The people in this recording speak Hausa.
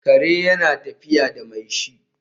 kare yana tafiya da mai shi